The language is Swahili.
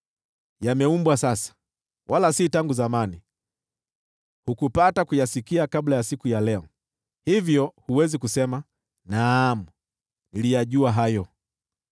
Yameumbwa sasa, wala si tangu zamani; hukupata kuyasikia kabla ya siku ya leo. Hivyo huwezi kusema, ‘Naam, niliyajua hayo.’